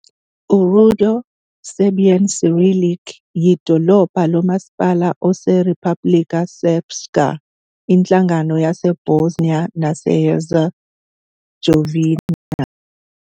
URudo, Serbian Cyrillic, yidolobha nomasipala oseRepublika Srpska, inhlangano yase Bosnia nase Herzegovina.